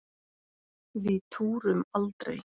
Við túrum aldrei!